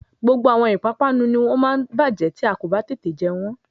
Gbogbo àwọn ìpápánu ni ó máa bájẹ́ tí a kò bá tètè jẹ wọ́n